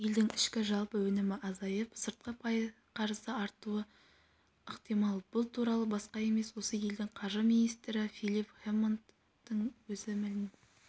елдің ішкі жалпы өнімі азайып сыртқы қарызы артуы ықтимал бұл туралы басқа емес осы елдің қаржы министрі филип хэммондтың өзі мәлім